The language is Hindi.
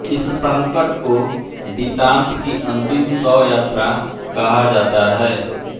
इस संकट को दितान्त की अन्तिम शवयात्रा कहा जाता है